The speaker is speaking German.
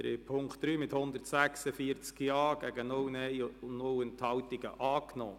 Sie haben den Punkt 3 mit 146 Ja-Stimmen einstimmig als Postulat angenommen.